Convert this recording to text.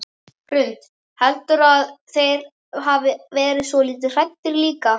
Hrund: Heldurðu að þeir hafi verið svolítið hræddir líka?